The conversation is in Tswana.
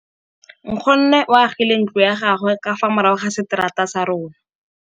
Nkgonne o agile ntlo ya gagwe ka fa morago ga seterata sa rona.